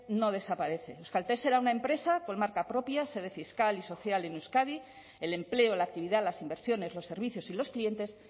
no desaparece euskaltel será una empresa con marca propia sede fiscal y social en euskadi el empleo la actividad las inversiones los servicios y los clientes